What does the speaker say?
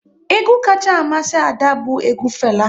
Egwu kacha amasị Ada bụ egwu Fela